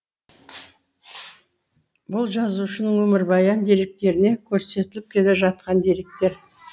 бұл жазушының өмірбаян деректерінде көрсетіліп келе жатқан деректер